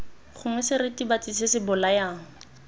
gongwe seritibatsi se se bolayang